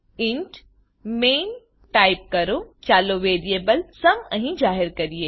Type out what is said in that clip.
int main type કરો ચાલો variable sum અહી જાહેર કરીએ